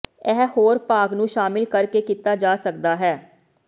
ਇਹ ਹੋਰ ਭਾਗ ਨੂੰ ਸ਼ਾਮਿਲ ਕਰਕੇ ਕੀਤਾ ਜਾ ਸਕਦਾ ਹੈ